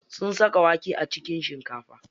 Sun saka wake a cikin shinkafa.